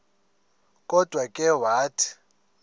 kodwa ke wathi